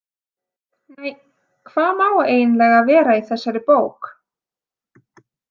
Nei, hvað má eiginlega vera í þessari bók?